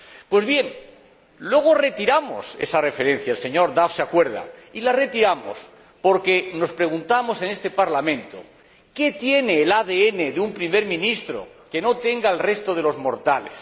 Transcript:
Pues bien, luego retiramos esa referencia el señor Duff se acuerda y la retiramos porque nos preguntamos en este Parlamento ¿qué tiene el ADN de un Primer Ministro que no tenga el del resto de los mortales?